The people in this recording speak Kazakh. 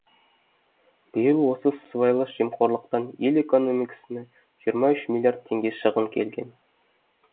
биыл осы сыбайлас жемқорлықтан ел экономикасына жиырма үш миллиард теңге шығын келген